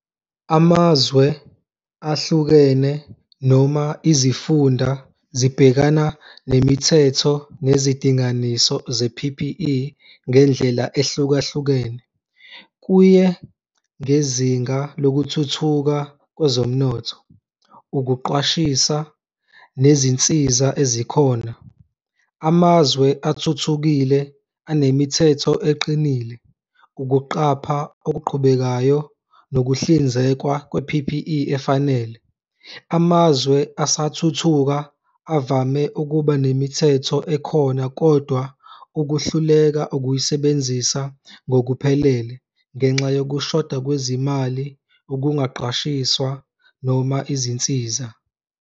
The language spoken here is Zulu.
Amazwe ahlukene noma izifunda zibhekana nemithetho nezidinganiso ze-P_P_E ngendlela ehlukahlukene, kuye ngezinga lokuthuthuka kwezomnotho, ukuqwashisa nezinsiza ezikhona. Amazwe athuthukile anemithetho eqinile, ukuqapha okuqhubekayo nokuhlinzekwa kwe-P_P_E efanele. Amazwe asathuthuka avame ukuba nemithetho ekhona kodwa ukuhluleka ukuyisebenzisa ngokuphelele ngenxa yokushoda kwezimali, ukungaqashiswa noma izinsiza.